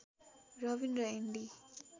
रबिन र एन्डी